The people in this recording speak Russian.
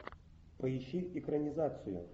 поищи экранизацию